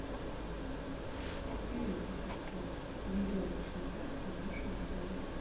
привет ассистент веревочный парк в нашем отеле